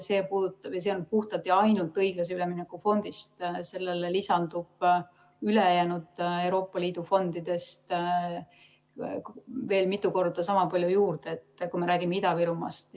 See on puhtalt ja ainult õiglase ülemineku fondist, sellele lisandub ülejäänud Euroopa Liidu fondidest veel mitu korda sama palju juurde, kui me räägime Ida-Virumaast.